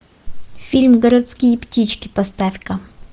фильм городские птички поставь ка